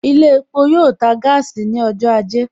Ilé epo yoo ta gaasi ní ọjọ́ ajé